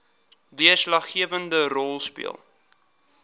deurslaggewende rol speel